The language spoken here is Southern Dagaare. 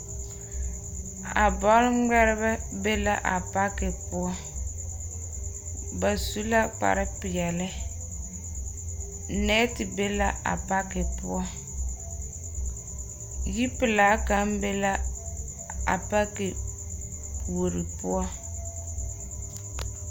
A bɔle ŋmeɛrebɛ be la a pake poɔ. Ba su la kpare peɛle. nɛɛte be la a pake poɔ yipelaa kaŋ be a pake puori poɔ.